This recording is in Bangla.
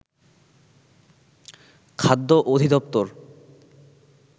খাদ্য অধিদপ্তর